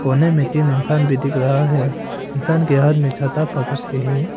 कोने में तीन इंसान भी दिख रहा है इंसान के हाथ में छाता पकड़ के है।